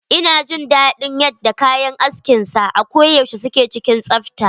Ina jin daɗin yadda kayan askin sa a ko yaushe suke cikin tsafta.